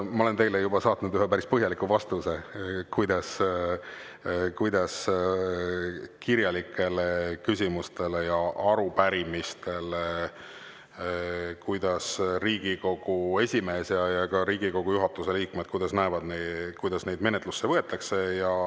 Ma olen teile juba saatnud ühe päris põhjaliku vastuse, kuidas Riigikogu esimees ja teised Riigikogu juhatuse liikmed kirjalikele küsimustele ja arupärimistele vaatavad, kuidas neid menetlusse võetakse.